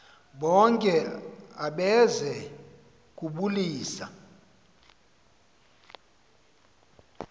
bonke abeze kubulisa